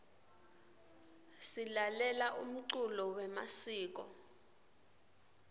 silalela umculo yemasiko